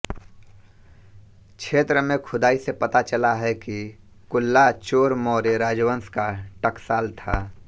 क्षेत्र में खुदाई से पता चला है कि कुल्ला चोर मौर्य राजवंश का टकसाल था